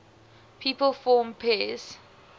people from paris